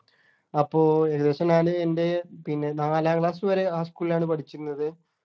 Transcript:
അപ്പൊ ഏകദേശം ഞാന് എൻ്റെ പിന്നെ നാലാം class വരെ ആ school ലാണ് പഠിചിന്നത്